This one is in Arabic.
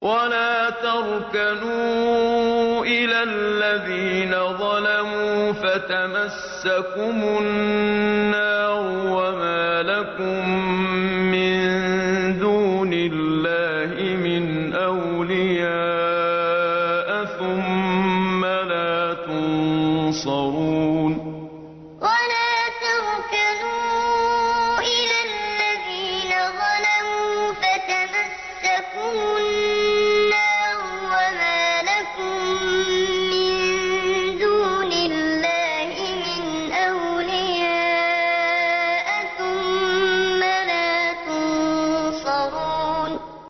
وَلَا تَرْكَنُوا إِلَى الَّذِينَ ظَلَمُوا فَتَمَسَّكُمُ النَّارُ وَمَا لَكُم مِّن دُونِ اللَّهِ مِنْ أَوْلِيَاءَ ثُمَّ لَا تُنصَرُونَ وَلَا تَرْكَنُوا إِلَى الَّذِينَ ظَلَمُوا فَتَمَسَّكُمُ النَّارُ وَمَا لَكُم مِّن دُونِ اللَّهِ مِنْ أَوْلِيَاءَ ثُمَّ لَا تُنصَرُونَ